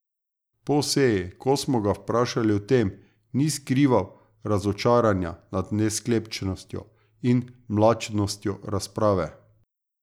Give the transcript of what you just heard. Po seji, ko smo ga vprašali o tem, ni skrival razočaranja nad nesklepčnostjo in mlačnostjo razprave.